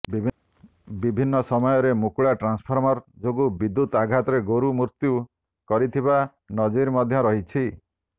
ବିଭିନ୍ନ ସମୟରେ ମୁକୁଳା ଟ୍ରାନ୍ସଫର୍ମର ଯୋଗୁଁ ବିଦ୍ୟୁତ୍ ଆଘାତରେ ଗୋରୁ ମୃତ୍ୟୁ କରିଥିବା ନଜିର ମଧ୍ୟ ରହିଛି